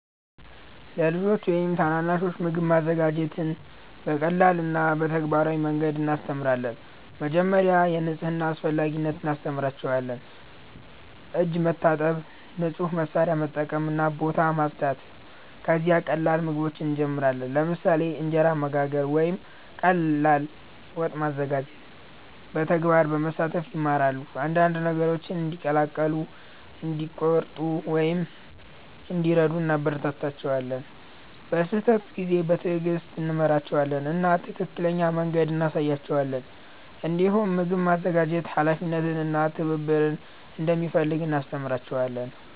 ለልጆች ወይም ታናናሾች ምግብ ማዘጋጀትን በቀላል እና በተግባራዊ መንገድ እናስተምራለን። መጀመሪያ የንጽህና አስፈላጊነት እናስተምራቸዋለን፤ እጅ መታጠብ፣ ንጹህ መሳሪያ መጠቀም እና ቦታ ማጽዳት። ከዚያ ቀላል ምግቦችን እንጀምራለን፣ ለምሳሌ እንጀራ መጋገር ወይም ቀላል ወጥ ማዘጋጀት። በተግባር በመሳተፍ ይማራሉ፤ አንዳንድ ነገሮችን እንዲቀላቀሉ፣ እንዲቆርጡ ወይም እንዲረዱ እናበረታታቸዋለን። በስህተት ጊዜ በትዕግስት እንመራቸዋለን እና ትክክለኛ መንገድ እንሳያቸዋለን። እንዲሁም ምግብ ማዘጋጀት ኃላፊነት እና ትብብር እንደሚፈልግ እናስተምራቸዋለን።